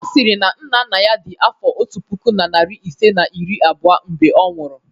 Ọ sịrị na nna nna ya dị afọ otu puku na narị isii na iri abụọ mgbe ọ nwụrụ.